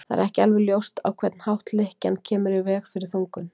Það er ekki alveg ljóst á hvern hátt lykkjan kemur í veg fyrir þungun.